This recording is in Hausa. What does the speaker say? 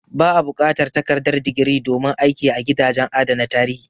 Ba a buƙatar takardar digiri domin aiki a gidajen adana tarihi.